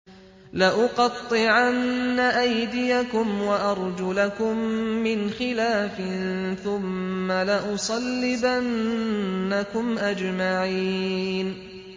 لَأُقَطِّعَنَّ أَيْدِيَكُمْ وَأَرْجُلَكُم مِّنْ خِلَافٍ ثُمَّ لَأُصَلِّبَنَّكُمْ أَجْمَعِينَ